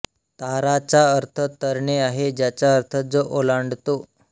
तारा चा अर्थ तरणे आहे ज्याचा अर्थ जो ओलांडतो